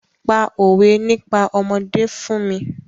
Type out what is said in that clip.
Pa òwé nípa ọmọdé fún mi!